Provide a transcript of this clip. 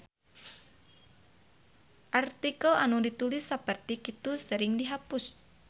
Artikel anu ditulis saperti kitu sering dihapus.